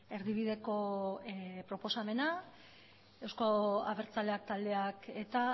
erdibideko proposamena euzko abertzaleak taldeak eta